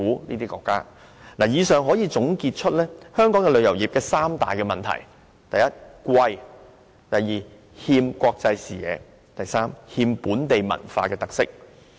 從上述情況可以得出以下結論：香港旅遊業有三大問題，就是物價昂貴、欠缺國際視野，以及欠缺本地文化特色。